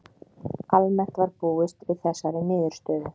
Almennt var búist við þessari niðurstöðu